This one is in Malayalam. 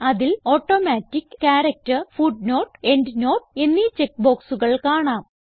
അതിൽ ഓട്ടോമാറ്റിക് ക്യാരക്ടർ ഫുട്നോട്ട് എൻഡ്നോട്ട് എന്നീ ചെക്ക് ബോക്സുകൾ കാണാം